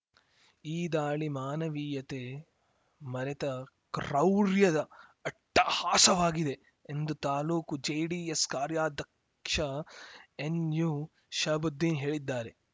ಈ ದಾಳಿ ಮಾನವೀಯತೆ ಮರೆತ ಕ್ರೌರ್ಯದ ಅಟ್ಟಹಾಸವಾಗಿದೆ ಎಂದು ತಾಲೂಕು ಜೆಡಿಎಸ್‌ ಕಾರ್ಯಾಧಕ್ಷ ಎನ್‌ಯು ಶಹಬುದ್ದೀನ್‌ ಹೇಳಿದ್ದಾರೆ